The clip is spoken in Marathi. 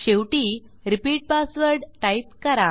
शेवटी रिपीट पासवर्ड टाईप करा